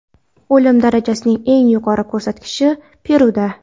o‘lim darajasining eng yuqori ko‘rsatkichi Peruda.